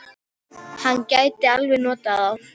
Hann gæti alveg notað þá.